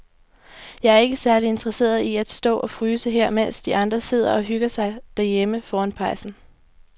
Jeg er ikke særlig interesseret i at stå og fryse her, mens de andre sidder og hygger sig derhjemme foran pejsen.